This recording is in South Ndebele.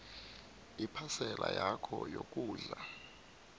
iphasela yakho yokudla